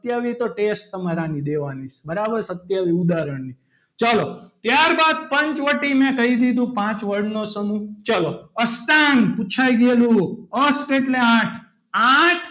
અત્યારે તો તમારે test આની દેવાની છે બરાબર સત્યાવીસ ઉદાહરણની ત્યારબાદ પંચવટીમેં કહી દીધું પાંચવડનો સમૂહ ચાલો અષ્ટાંગ પુછાય ગયેલું અષ્ટ એટલે આઠ આઠ,